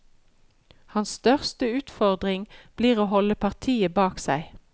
Hans største utfordring blir å holde partiet bak seg.